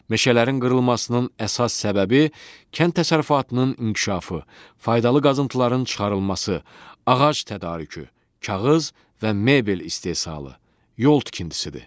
Meşələrin qırılmasının əsas səbəbi kənd təsərrüfatının inkişafı, faydalı qazıntıların çıxarılması, ağac tədarükü, kağız və mebel istehsalı, yol tikintisidir.